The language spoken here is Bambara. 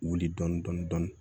Wuli dɔni dɔni dɔni